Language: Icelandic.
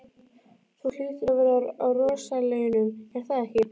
Þú hlýtur að vera á rosalaunum, er það ekki?